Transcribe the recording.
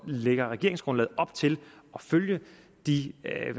lægger regeringsgrundlaget op til at følge de